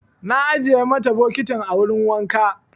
Na ajiye mata bokitin a wurin wanka.